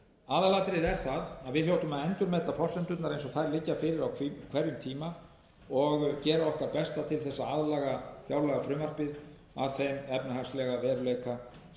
aðalatriðið er það að við hljótum að endurmeta forsendurnar eins og þær liggja fyrir á hverjum tíma og gera okkar besta til þess að laga fjárlagafrumvarpið að þeim efnahagslega veruleika sem við okkur blasir hverju sinni og það